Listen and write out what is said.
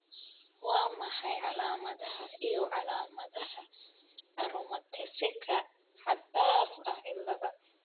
Waa maxay calaamadaha iyo calaamadaha Aromataseka xad-dhaaf ah ciladha?